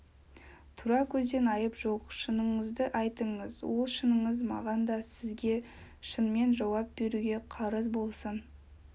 тура сөзде айып жоқ шыныңызды айтыңыз ол шыныңыз маған да сізге шынмен жауап беруге қарыз болсын